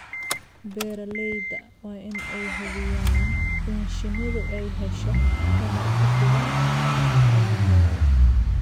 Beeralayda waa in ay hubiyaan in shinnidu ay hesho tamar ku filan hawlahooda.